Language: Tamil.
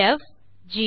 எ ப் ஜி